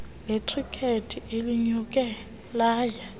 lekhrikethi elinyuke laya